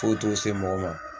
Foyi t'o se mɔgɔ ma